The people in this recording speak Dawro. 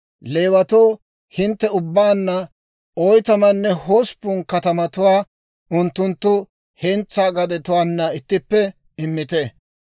Leewatoo hintte ubbaanna oytamanne hosppun katamatuwaa unttunttu hentsaa gadetuwaana ittippe immite.